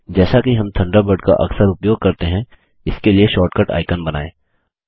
जैसा कि हम थंडरबर्ड का अक्सर उपयोग करते हैं इसके लिए शॉर्टकट आइकन बनाएँ